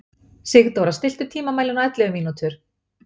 Sigdóra, stilltu tímamælinn á ellefu mínútur.